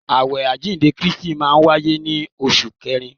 Awẹ àjíǹde Kristi máa wáyé ní oṣù kẹrin.